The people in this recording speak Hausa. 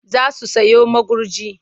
Za su sayo magurji.